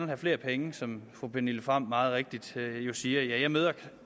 have flere penge som fru pernille frahm meget rigtigt siger jeg møder